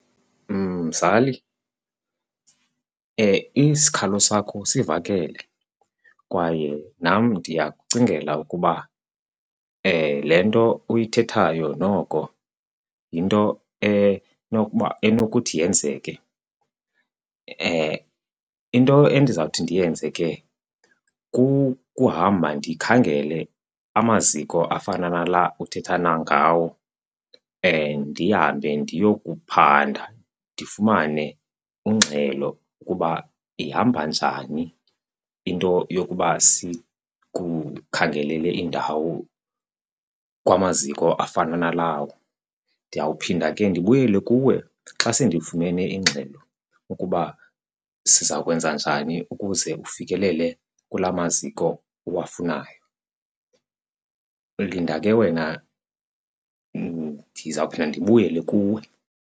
Mzali, isikhalo sakho sivakele kwaye nam ndiyakucingela ukuba le nto uyithethayo noko yinto enokuba enokuthi yenzeke. Into endizawuthi ndiyenze ke kukuhamba ndikhangele amaziko afana nala uthetha nangawo, ndihambe ndiyokuphanda ndifumane ingxelo ukuba ihamba njani into yokuba sikukhangelele indawo kwamaziko afana nalawo. Ndiyawuphinda ke ndibuyele kuwe xa sendifumene ingxelo ukuba siza kwenza njani ukuze ufikelele kulaa maziko uwafunayo. Linda ke wena ndizawuphinda ndibuyele kuwe.